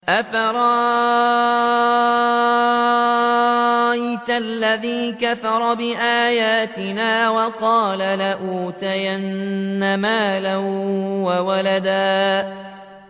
أَفَرَأَيْتَ الَّذِي كَفَرَ بِآيَاتِنَا وَقَالَ لَأُوتَيَنَّ مَالًا وَوَلَدًا